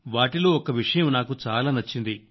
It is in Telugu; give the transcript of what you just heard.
వాటిలో ఒక్క విషయం నాకు చాలా నచ్చింది